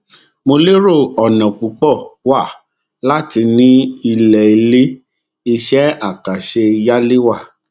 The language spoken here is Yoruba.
mo lérò ọnà púpọ wà láti ní ilẹ ilé iṣẹ àkànṣe yálé wa